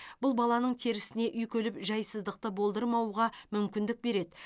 бұл баланың терісіне үйкеліп жайсыздықты болдырмауға мүмкіндік береді